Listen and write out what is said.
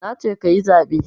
Nace kayi zaɓe